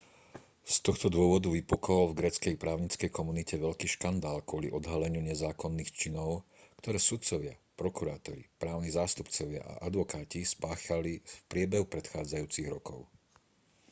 z tohto dôvodu vypukol v gréckej právnickej komunite veľký škandál kvôli odhaleniu nezákonných činov ktoré sudcovia prokurátori právni zástupcovia a advokáti spáchali v priebehu predchádzajúcich rokov